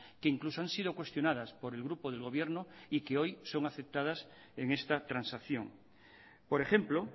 que incluso han sido cuestionadas por el grupo del gobierno y que hoy son aceptadas en esta transacción por ejemplo